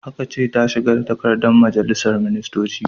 Aka ce ta shigar da takardar a majalisar ministoci!